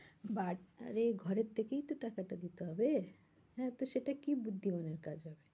But আরে ঘরে থেকেই তো টাকা দিতে হবে হ্যাঁ, তো সেটা কি বুদ্ধিমানের কাজ হবে?